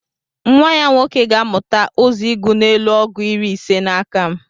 nwa-ya nwoke gāmuta uzọ ịgu n'elu ọgu iri ise n'akam